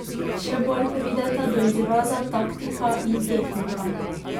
Še bolj prideta do izraza taktika in tehnika.